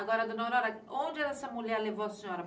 Agora, dona Aurora, onde essa mulher levou a senhora?